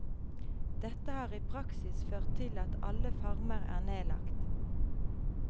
Dette har i praksis ført til at alle farmer er nedlagt.